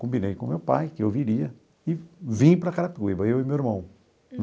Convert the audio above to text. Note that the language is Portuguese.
Combinei com meu pai que eu viria e vim para Carapicuíba, eu e meu irmão.